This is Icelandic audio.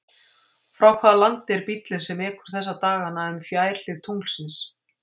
Frá hvaða landi er bíllinn sem ekur þessa dagana um fjærhlið tunglsins?